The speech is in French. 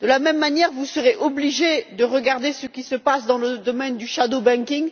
De la même manière, vous serez obligé de regarder ce qui se passe dans le domaine du shadow banking